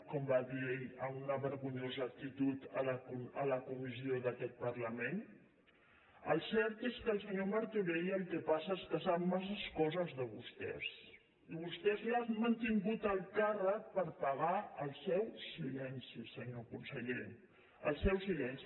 com va dir ell en una vergonyosa actitud a la comissió d’aquest parlament el cert és que el senyor martorell el que passa és que sap massa coses de vostès i vostès l’han mantingut en el càrrec per pagar el seu silenci senyor conseller el seu silenci